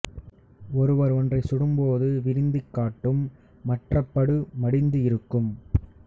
ஒருவர் ஒன்றை சுட்டும் போது விரிந்து காட்டும் மற்றப் படு மடிந்து இருக்கும்